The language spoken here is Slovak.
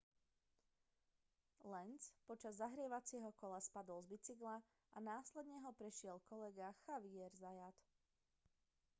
lenz počas zahrievacieho kola spadol z bicykla a následne ho prešiel kolega xavier zayat